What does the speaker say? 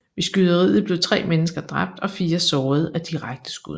Ved skyderiet blev tre mennesker dræbt og fire såret af direkte skud